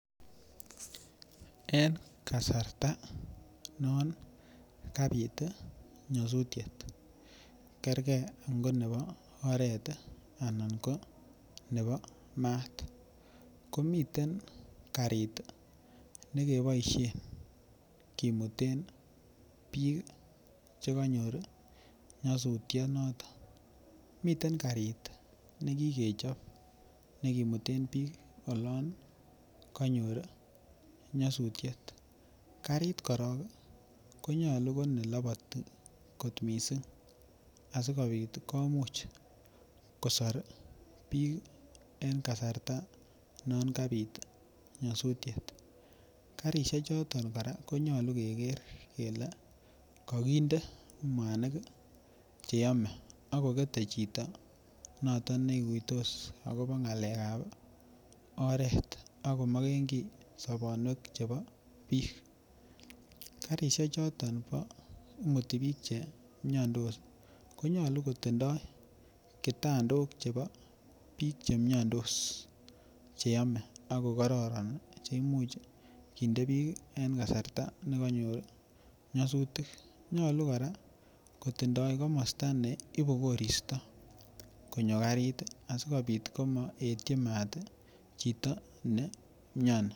En kasarta non kabit tii nyosutyet kergee ko nebo oret anan ko nebo maat komiten karit nekiboishen kimuten bik chekinyoru nyosutyo noton. Miten karit nekikechobi nekimiten bik. Olon konyor nyosutyet, karit korong konyolu ko neloboti missing asikopit komuch kosor bik en kasarta non kapit nyosutyet. Karishek choton Koraa konyolu kegeer kele kokinde muanik cheyome ak kongete chito noton neikuitos akobo ngalekab oret akomokengii sobonwek chebo bik. Karishek choton imuti bik vhemio8 konyolu kotindo kitandok chebo bik chemiondos cheyome ak ko kororon cheimuch kinde bik en kasarta nekonyor nyosutik, nyolu nkoraa kitindo komosto neibu koristo konyo karit asikopit komopetyo mat chito nemioni.